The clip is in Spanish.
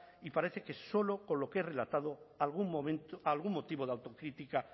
y parece que solo con lo que he relatado algún motivo de autocrítica